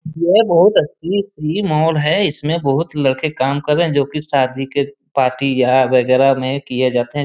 ये बहुत अच्छी फ्री मॉल है इसमें बहुत से लड़के काम कर रहे हैं जो की शादी के पार्टी या वगैरा में किए जाते हैं।